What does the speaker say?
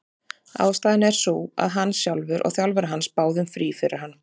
Ástæðan er sú að hann sjálfur og þjálfari hans báðu um frí fyrir hann.